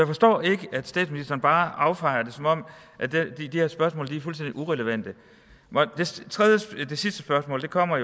forstår ikke at statsministeren bare affejer det som om de her spørgsmål var fuldstændig irrelevante det sidste spørgsmål kommer